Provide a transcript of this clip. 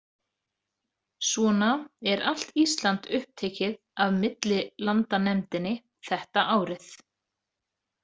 Svona er allt Ísland upptekið af millilandanefndinni þetta árið.